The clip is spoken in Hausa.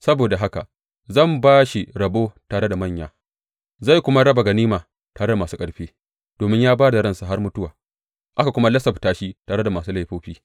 Saboda haka zan ba shi rabo tare da manya, zai kuma raba ganima tare da masu ƙarfi, domin ya ba da ransa har mutuwa, aka kuma lissafta shi tare da masu laifofi.